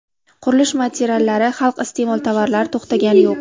Qurilish materiallari, xalq iste’mol tovarlari to‘xtagani yo‘q.